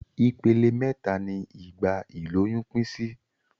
Ipele méta ni ìgbà ìlóyún pín sí